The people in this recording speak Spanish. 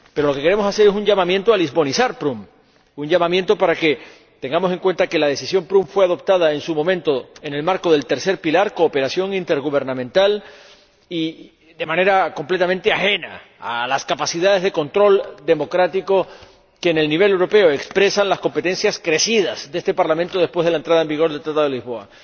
Pero lo que queremos hacer es un llamamiento a lisbonizar Prüm, un llamamiento para que tengamos en cuenta que la Decisión Prüm fue adoptada, en su momento, en el marco del tercer pilar —cooperación intergubernamental— y de manera completamente ajena a las capacidades de control democrático que, en el nivel europeo, expresan las mayores competencias de este Parlamento después de la entrada en vigor del Tratado de Lisboa.